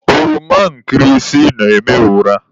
Ọroma nkịrịsị na-ama ụra.